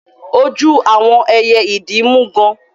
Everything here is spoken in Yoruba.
Ojú àwọn ẹyẹ idí mú gán.